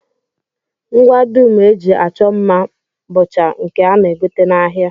Ngwa dum e ji achọ mma mma bụcha nke a na-egote n'ahịa